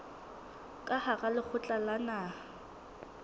ka hara lekgotla la naha